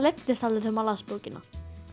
leiddist aldrei þegar maður las bókina